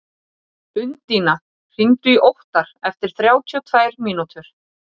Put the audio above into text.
Undína, hringdu í Óttar eftir þrjátíu og tvær mínútur.